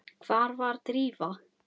Hvar var Drífa?